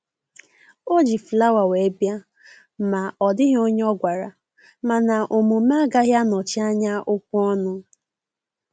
O ji flawa wee bịa ma ọ dịghị onye ọ gwara, mana omume agaghị anọchi anya okwu ọnụ